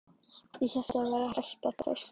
ÉG HÉLT AÐ ÞAÐ VÆRI HÆGT AÐ TREYSTA